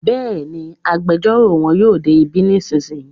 Bẹ́ẹ̀ni, agbẹjọ́rò won yóò dé bí nísìnyí